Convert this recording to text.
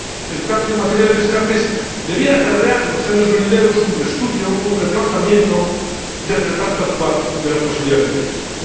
El cambio en materia de descartes debiera acarrear en los años venideros un reestudio, un replanteamiento del reparto actual de las posibilidades de pesca.